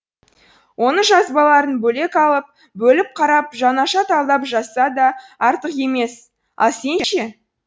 оның жазбаларын бөлек алып бөліп қарап жаңаша талдап жазса да артық емес ал сен ше